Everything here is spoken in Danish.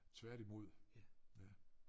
Tværtimod ja